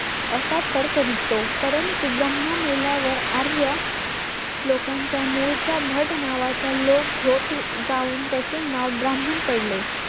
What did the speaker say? असा तर्क निघतो परंतु ब्रह्मा मेल्या वर आर्य लोकांच्या मुळचा भट नावाचा लोक होत जाऊन त्याचे नाव ब्राह्मण पडले